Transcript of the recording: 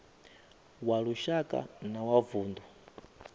wa lushaka na wa vundu